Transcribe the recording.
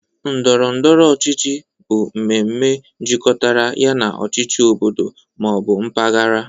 Ndọrọ ndọrọ ọchịchị bụ mmemme jikọtara ya na ọchịchị obodo ma ọ bụ mpaghara